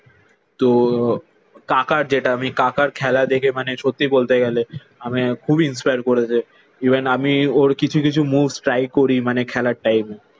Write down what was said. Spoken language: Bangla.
তো কাকার যেটা আমি কাকার খেলা দেখে মানে সত্যি বলতে গেলে আমি খুবই ইন্সপায়ার করেছে। ইভেন আমি ওর কিছু কিছু moves try করি মানে খেলার টাইমে।